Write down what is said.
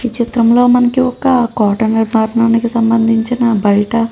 ఈ చిత్రం లో మనకి ఒక కోటకు నిర్మాణంకి సంభందించిన బయట --